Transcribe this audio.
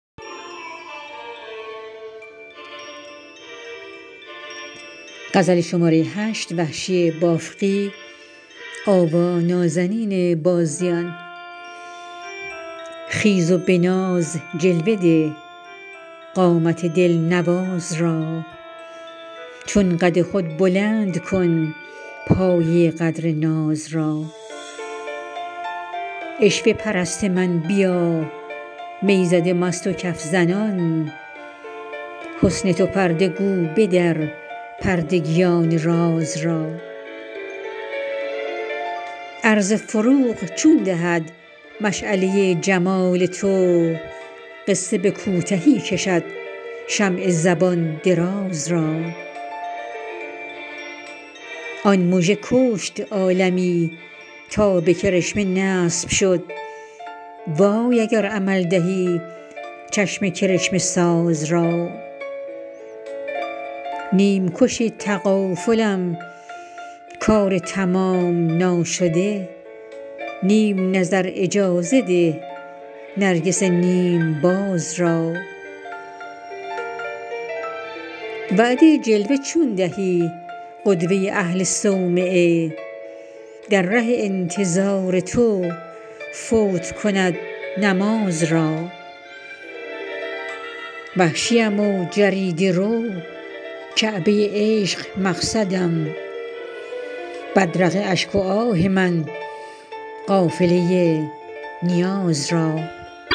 خیز و به ناز جلوه ده قامت دلنواز را چون قد خود بلند کن پایه قدر ناز را عشوه پرست من بیا می زده مست و کف زنان حسن تو پرده گو بدر پردگیان راز را عرض فروغ چون دهد مشعله جمال تو قصه به کوتهی کشد شمع زبان دراز را آن مژه کشت عالمی تا به کرشمه نصب شد وای اگر عمل دهی چشم کرشمه ساز را نیمکش تغافلم کار تمام ناشده نیم نظر اجازه ده نرگس نیم باز را وعده جلوه چون دهی قدوه اهل صومعه در ره انتظار تو فوت کند نماز را وحشیم و جریده رو کعبه عشق مقصدم بدرقه اشک و آه من قافله نیاز را